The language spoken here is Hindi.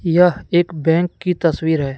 यह एक बैंक की तस्वीर है।